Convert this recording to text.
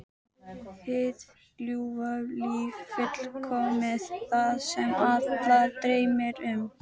Hið ljúfa líf fullkomið: Það sem alla dreymir um.